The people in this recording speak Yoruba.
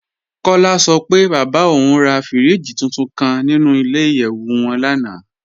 Kọ́lá sọ pé bábá ọ̀un rà fíríjì túntún kàn nínú ilẹ̀-ìyẹ̀wù wọn lánà.